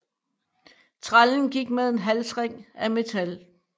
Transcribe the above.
Trællen gik med en halsring af metal